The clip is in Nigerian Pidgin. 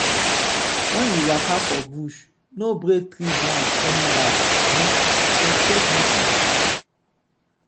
when you waka for bush no break tree branch anyhow um respect nature.